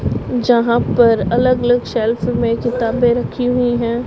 यहां पर अलग अलग शेल्फ में किताबें रखी हुई हैं।